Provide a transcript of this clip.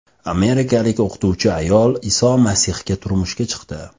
Amerikalik o‘qituvchi ayol Iso Masihga turmushga chiqdi .